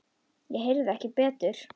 Ég heyrði ekki betur.